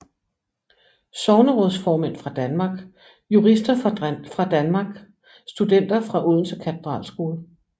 Sognerådsformænd fra Danmark Jurister fra Danmark Studenter fra Odense Katedralskole